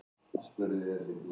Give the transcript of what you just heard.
En samninga má framlengja.